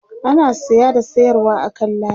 ana saya da sayarwa a kan layi